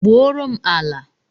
Gbuo ro m ala!